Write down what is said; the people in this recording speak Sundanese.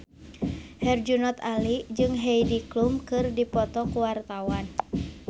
Herjunot Ali jeung Heidi Klum keur dipoto ku wartawan